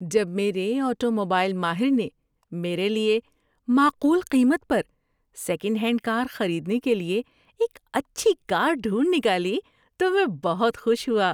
جب میرے آٹوموبائل ماہر نے میرے لیے معقول قیمت پر سیکنڈ ہینڈ کار خریدنے کے لیے ایک اچھی کار ڈھونڈ نکالی تو میں بہت خوش ہوا۔